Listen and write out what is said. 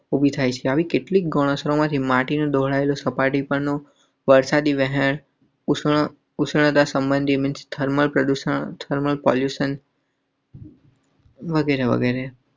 વગેરે વગેરે ઉભી થાય છે. આવી કેટલીક ગૌણ આશ્રમ? વગેરે વગેરે.